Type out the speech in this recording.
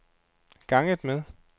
ganget med